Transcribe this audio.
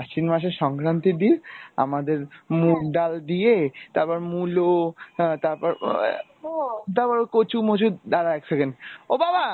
অশ্বিন মাসের সংক্রান্তির দিন আমাদের মুগ ডাল দিয়ে তারপর মূলো তারপর উম আহ তারপর কচু মোচু দ্বারা এক second ও বাবা